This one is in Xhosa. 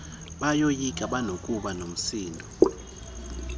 bayoyika banokuba nomsindo